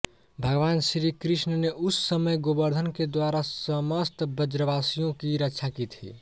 भगवान श्री कृष्ण ने उस समय गोवर्धन के द्वारा समस्त ब्रजवसियों की रक्षा की थी